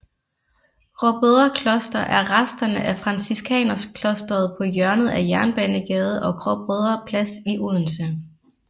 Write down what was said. Gråbrødre Kloster er resterne af franciskanerklosteret på hjørnet af Jernbanegade og Gråbrødre Plads i Odense